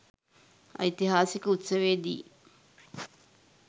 ඓතිහාසික උත්සවයේදී